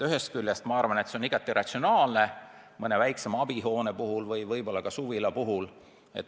Ühest küljest on see igati ratsionaalne mõne väiksema abihoone puhul ja võib-olla ka suvila puhul.